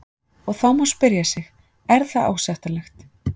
Og þá má spyrja sig, er það ásættanlegt?